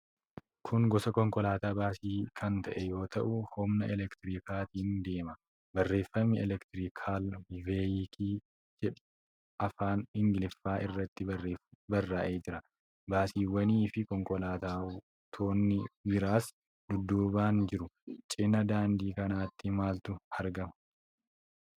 Kun gosa konkolaataa baasii kan ta'e yoo ta'u, humna elektirikaatiin deema. Barreeffami 'Elektrikaal Veeyikil' jedhu afaan Ingiliffaan irratti barraa'ee jira. Baasiwwanii fi konkolaattonni biraas dudduubaan jiru. Cinaa daandii kanaatti maaltu argama?